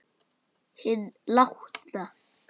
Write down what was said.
Hinn látna.